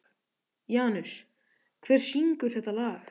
Janus, hver syngur þetta lag?